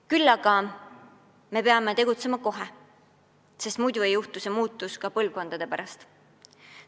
Küll aga peame tegutsema kohe, sest muidu ei toimu see muutus ka põlvkondade pärast.